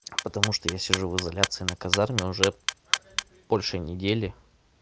потому что я сижу в изоляции на казарме уже больше недели